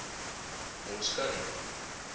ons kan nie